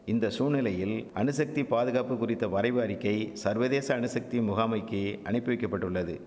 இந்த சூழ்நிலையில் அணுசக்தி பாதுகாப்பு குறித்த வரைவு அறிக்கை சர்வதேச அணுசக்தி முகாமைக்கி அனிப்பிவிக்கப்பட்டுள்ளது